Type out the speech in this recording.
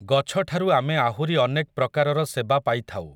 ଗଛଠାରୁ ଆମେ ଆହୁରି ଅନେକ୍ ପ୍ରକାରର ସେବା ପାଇଥାଉ ।